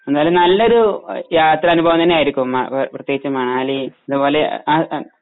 എന്തായാലും നല്ലൊരു യാത്രാ അനുഭവം തന്നെയായിരിക്കും പ്രത്യേകിച്ചു മണാലി ആ ഹു അ